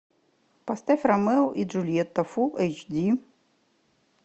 поставь ромео и джульетта фул эйч ди